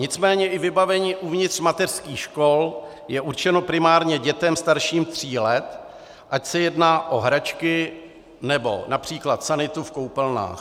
Nicméně i vybavení uvnitř mateřských škol je určeno primárně dětem starším tří let, ať se jedná o hračky, nebo například sanitu v koupelnách.